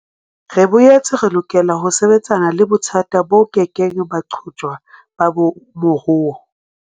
Re boetse re lokela ho sebetsana le bothata bo kekeng ba qojwa ba moruo.